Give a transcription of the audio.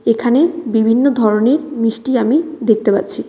এখানে বিভিন্ন ধরনের মিষ্টি আমি দেখতে পাচ্ছি।